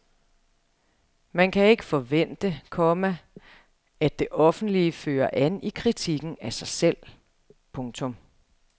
Man kan ikke forvente, komma at det offentlige fører an i kritikken af sig selv. punktum